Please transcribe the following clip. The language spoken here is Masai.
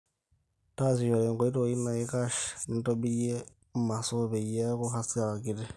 taasishore enkoitoi naikash nintobirie maso peyie eeku hasara kiti